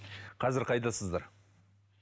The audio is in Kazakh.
қазір қайдасыздар